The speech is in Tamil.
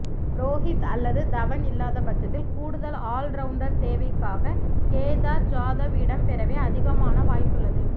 ரோஹித் அல்லது தவண் இல்லாத பட்சத்தில் கூடுதல் ஆல்ரவுண்டர் தேவைக்காக கேதார் ஜாதவ் இடம் பெறவே அதிகமான வாய்ப்புள்ளது